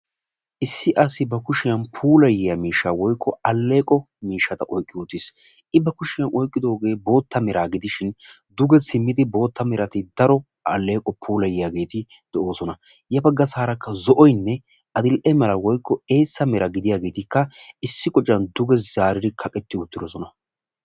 Issi asi ba kushiyan puulayiya miishsha woykko alleeqo miishshata oyiqqi wottis. I ba kushiyan oyiqqi wottidoogee bootta meraa gidishin duge simmidi bootta merati daro alleeqo puulayiyageeti de'oosona. Ya bagga saarakka zo'oyinne ad'ieenne woyikko bootta meran de'iyaageetikka issi qocan duge zaaridi kaqetti uttiidosona.